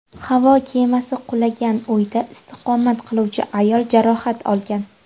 Havo kemasi qulagan uyda istiqomat qiluvchi ayol jarohat olgan.